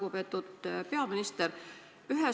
Lugupeetud peaminister!